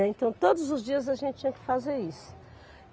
É. Então, todos os dias a gente tinha que fazer isso.